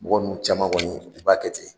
Mɔgɔ ninnu caman kɔni u b'a kɛ ten.